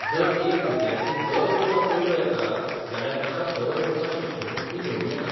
जर एक विद्यार्थी दर वर्सा पयलो येता, जाल्यार ताका दर वर्सा शिश्यवृत्ती मेळूं येता.